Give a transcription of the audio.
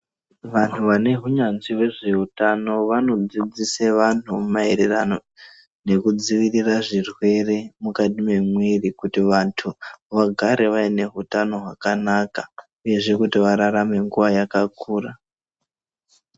Vantu vanehunyanzvi hwezve utano vanodzidzisa vantu maererano nekudzivirira zvirwere mukati mwemwiri. Kuti vantu vagare vaine hutano hwakanaka, uyezve kuti vararame nguva yakakura.